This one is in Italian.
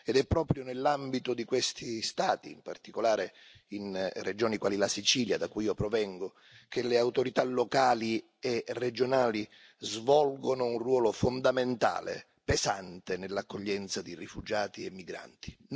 Ed è proprio nell'ambito di questi Stati, in particolare in regioni quali la Sicilia da cui io provengo, che le autorità locali e regionali svolgono un ruolo fondamentale pesante nell'accoglienza di rifugiati e migranti.